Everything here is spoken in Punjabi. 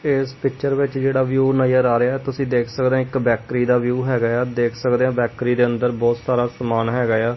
ਇਸ ਪਿਕਚਰ ਵਿੱਚ ਜਿਹੜਾ ਵਿਊ ਨਜ਼ਰ ਆ ਰਿਹਾ ਹ ਤੁਸੀਂ ਦੇਖ ਸਕਦੇ ਹ ਇੱਕ ਬੈਕਰੀ ਦਾ ਵਿਊ ਹੈਗਾ ਆ ਦੇਖ ਸਕਦੇ ਆ ਬੈਕਰੀ ਦੇ ਅੰਦਰ ਬਹੁਤ ਸਾਰਾ ਸਮਾਨ ਹੈਗਾ ਆ।